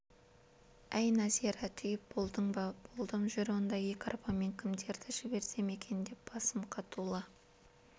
әй нәзира түйіп болдың ба болдым жүр онда екі арбамен кімдерді жіберсем екен деп басым қатулы